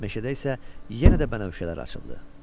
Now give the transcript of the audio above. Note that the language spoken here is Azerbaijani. Meşədə isə yenə də bənövşələr açıldı.